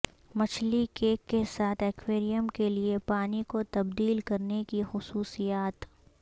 مچھلی کیک کے ساتھ ایکویریم کے لئے پانی کو تبدیل کرنے کی خصوصیات